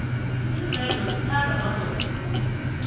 iinvedlo zithandwa madoda khulu